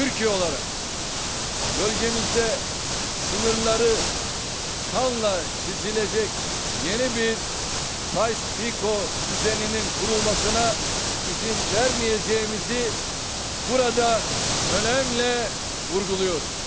Türkiyə olaraq bölgəmizdə sınırları kanla çisiləcək yeni bir Sayko düzeninin kurulmasına izin verməyəcəyimizi burada önəmlə vurğuluyorum.